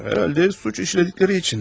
Yəqin ki, cinayət törətdikləri üçün.